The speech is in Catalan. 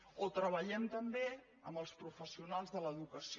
o treballem també amb els professio nals de l’educació